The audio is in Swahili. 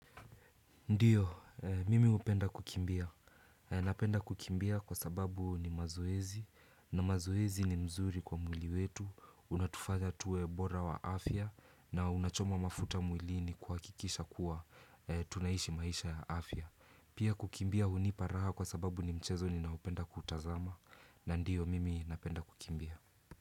Ndiyo, mimi hupenda kukimbia. Napenda kukimbia kwa sababu ni mazoezi, na mazoezi ni mzuri kwa mwili wetu, unatufanya tuwe bora wa afya, na unachoma mafuta mwilini kuhakikisha kuwa tunaishi maisha ya afya. Pia kukimbia hunipa raha kwa sababu ni mchezo ninaoupenda kutazama, na ndiyo mimi napenda kukimbia.